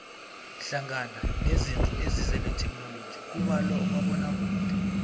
hlangana nezinto ezize netheknoloji kubalwa umabonakude